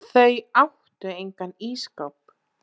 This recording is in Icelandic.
Þau áttu engan ísskáp.